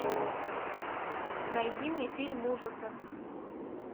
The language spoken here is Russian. найди мне фильм ужасов